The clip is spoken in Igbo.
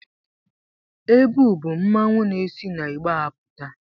Ebu bụ mmanwụ na-esi n'igbe apụta.